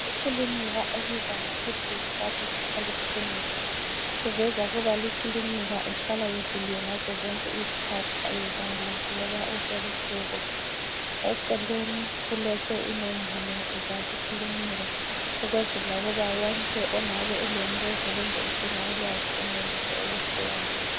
Iklilinika ebizwa ngokuthi yi Salus Polyclinic, kuveza ukuba li klinika ihlala ivuliwe ngazo zonke izikhathi ayivalwa loba kusebusuku. Eceleni kulotshwe inombolo zali kilinika ukwenzela ukuba wonke ongabe elombuzo kumbe edinga ulwazi enelise ukufona .